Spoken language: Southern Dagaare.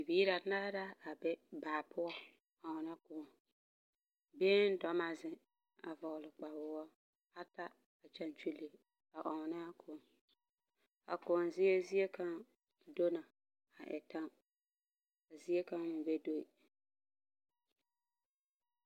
Biihi banaahe la sege baa a te ɔnna kõɔ. Kaŋa suee kparoo buluu ka kaŋa su kpardɔɔ, ka kaŋa meŋ kparoo ba sãã, ka kaŋa vɔgle zupeluu. Kyɛ ka ba taa bogtiri a ɔnnaa kõɔ.